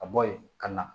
Ka bɔ yen ka na